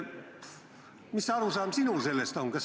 Mis arusaam sinul sellest on?